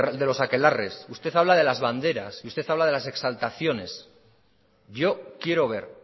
de los aquelarres usted habla de las banderas y usted habla de las exaltaciones yo quiero ver